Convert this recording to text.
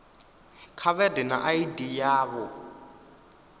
kha vha ḓe na id yavho